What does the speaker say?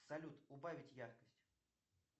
салют убавить яркость